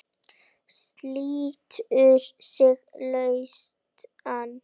Slítur sig lausan.